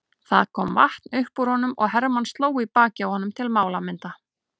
Það kom vatn upp úr honum og Hermann sló í bakið á honum til málamynda.